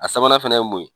A sabanan fana ye mun ye